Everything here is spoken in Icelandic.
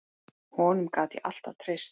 Honum gat ég alltaf treyst.